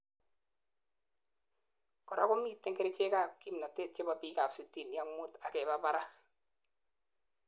korak komiten kerichek ab kimnotet chebo biikab sitini ak muut akeba barak